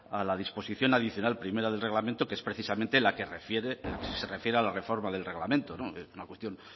a la disposición adicional primera de parlamento que es precisamente la que se refiere a la reforma del reglamento es una cuestión